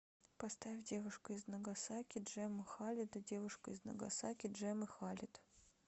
поставь девушка из нагасаки джемма халида девушка из нагасаки джеммы халид